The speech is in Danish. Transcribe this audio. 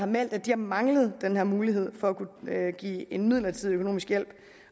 meldt at de har manglet den her mulighed for at kunne give en midlertidig økonomisk hjælp